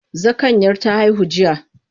Zakanyar ta haihu jiya.